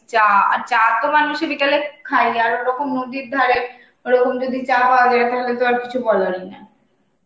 চা. আর চা তো মানুষের বিকেলে খাইনি আর ওরকম নদীর ধারে, ওরকম যদি চা পাওয়া যায়, তাহলে তো আর কিছু বলারই না.